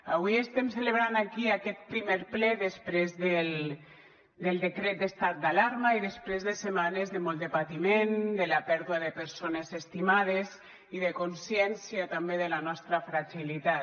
avui estem celebrant aquí aquest primer ple després del decret d’estat d’alarma i després de setmanes de molt de patiment de la pèrdua de persones estimades i de consciència també de la nostra fragilitat